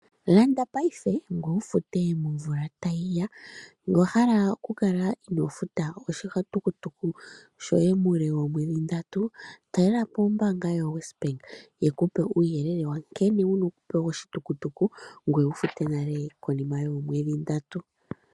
Landa paife ngweye wu fute momvula tayiya, ngele owahala okukala inoofuta oshitukutuku shoue muule woomwedhi dhili ndatu talelapo ombaanga yo wesbank yekupe uuyelele nkene wupewe oshitukutuku ngweye wufute konima yoomqedhi ndatu.